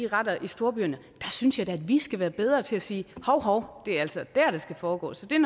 retterne i storbyerne så synes jeg da at vi skal være bedre til at sige hov hov det er altså der det skal foregå så det er